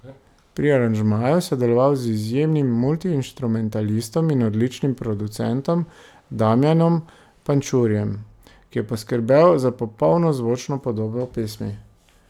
Pri aranžmaju je sodeloval z izjemnim multiinštrumentalistom in odličnim producentom Damjanom Pančurjem, ki je poskrbel za popolno zvočno podobo pesmi.